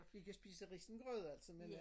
Vi kan spise risengrød altså men øh